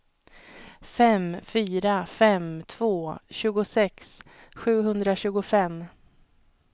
fem fyra fem två tjugosex sjuhundratjugofem